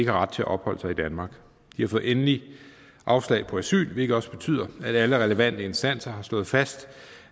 har ret til at opholde sig i danmark de har fået endeligt afslag på asyl hvilket også betyder at alle relevante instanser har slået fast